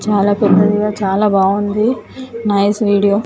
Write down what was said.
చాలా పెద్దదిగా చాలా బాగుంది నైస్ వీడియో .